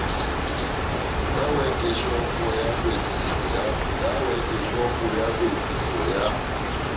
ka wekeshopo ya klwetliso ya